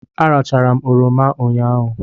Arachara m oroma ụnyahụ.